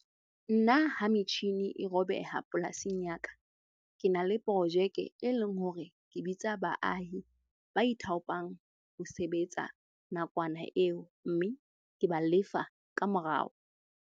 Nna ha metjhini e robeha polasing ya ka, ke na le projeke e leng hore ke bitsa baahi ba ithaopang ho sebetsa nakwana eo mme ke ba lefa ka morao.